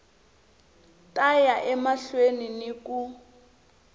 ta ya emahlweni ni ku